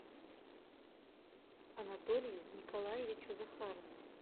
анатолию николаевичу захарову